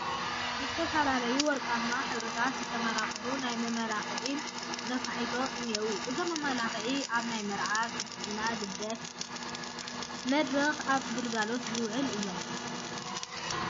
ብዝተፈላለዩ ወርቃማ ሕብርታት ዝተመላክዑ ናይ መመላክዒ ነፋሒቶታት እኔዉ፡፡ እዞ መመላክዒ ኣብ ናይ መርዓ፣ ክርስትና፣ ልደት መድረኽ ኣብ ግልጋሎት ዝውዕሉ እዮም፡፡